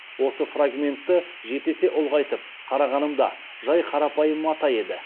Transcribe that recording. осы фрагментті жеті есе ұлғайтып қарағанымда жай қарапайым мата еді